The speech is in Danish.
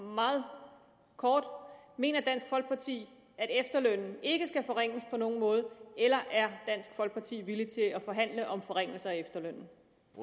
meget kort mener dansk folkeparti at efterlønnen ikke skal forringes på nogen måde eller er dansk folkeparti villige til at forhandle om forringelser af efterlønnen